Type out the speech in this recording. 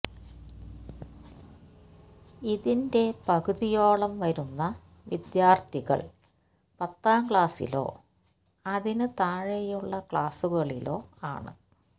ഇതിന്റെ പകുതിയോളം വരുന്ന വിദ്യാര്ഥികള് പത്താംക്ലാസിലോ അതിനു താഴെയുള്ള ക്ലാസുകളിലോ ആണ്